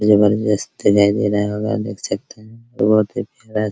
जबरदस्त दिखाई दे रहा होगा देख सकते हैं बहुत ही प्यारा सा --